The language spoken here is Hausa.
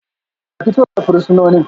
A fito da fursunonin